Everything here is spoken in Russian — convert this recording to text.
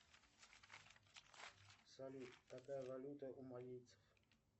салют какая валюта у малийцев